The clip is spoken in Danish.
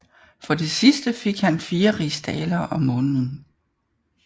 For det sidste fik han 4 rigsdalere om måneden